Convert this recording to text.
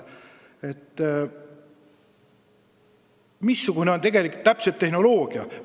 Missugune on ikkagi kasutatav tehnoloogia?